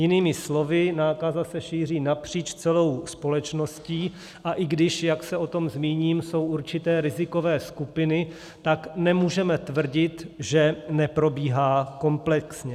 Jinými slovy, nákaza se šíří napříč celou společností, a i když, jak se o tom zmíním, jsou určité rizikové skupiny, tak nemůžeme tvrdit, že neprobíhá komplexně.